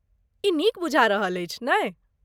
ई नीक बुझा रहल अछि, नहि ?